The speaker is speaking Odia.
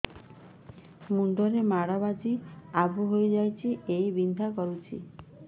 ମୁଣ୍ଡ ରେ ମାଡ ବାଜି ଆବୁ ହଇଯାଇଛି ଏବଂ ବିନ୍ଧା କରୁଛି